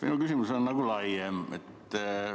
Minu küsimus on nagu laiem.